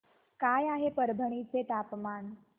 काय आहे परभणी चे तापमान